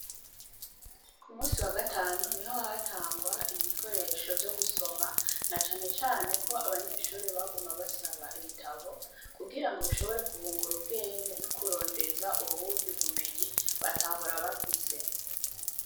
K'umunsi wa gatanu niho hatangwa ibikoresho vyo gusoma na canecane ko abanyeshure baguma basaba ibitabo, kugirango bishobore kubungura ubwenge n'ukurondeza ubundi bumenyi batahora bafise.